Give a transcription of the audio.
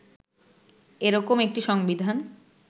এরকম একটি সংবিধান